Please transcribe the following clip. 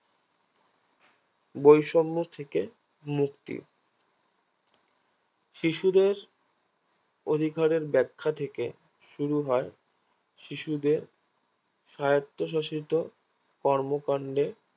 বৈষম্য থেকে মুক্তি শিশুদের অধিকারের ব্যাখ্যা থেকে শুরু হয় শিশুদের সায়ত্বশাসিত কর্মকান্ডে